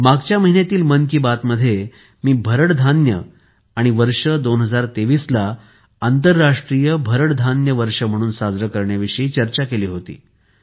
मागील महिन्यातील मन कि बात मध्ये मी भरड धान्य आणि वर्ष २०२३ ला आंतरराष्ट्रीय भरड धान्य वर्ष म्हणून साजरे करण्याविषयी चर्चा केली होती